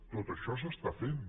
tot això s’està fent